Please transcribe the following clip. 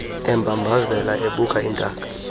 embambazela ebuka intaka